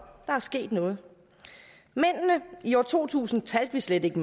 der er sket noget i år to tusind talte vi slet ikke